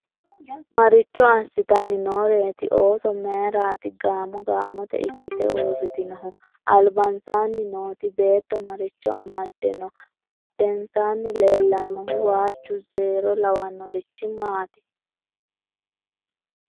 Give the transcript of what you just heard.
maricho asitanni nooreeti ooso? mayiiraat gamo gamote ikkite uritinnohu? alibansaanni nooti beetto maricho amadde no? badheensaanni leelannohu waaju zeero lawanorich maati?